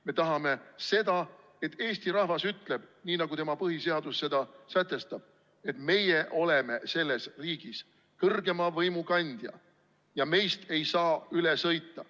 Me tahame seda, et Eesti rahvas ütleb nii, nagu tema põhiseadus seda sätestab, et meie oleme selles riigis kõrgeima võimu kandja ja meist ei saa üle sõita.